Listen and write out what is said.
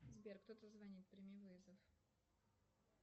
сбер кто то звонит прими вызов